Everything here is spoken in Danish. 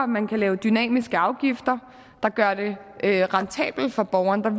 man kan lave dynamiske afgifter der gør det rentabelt for borgeren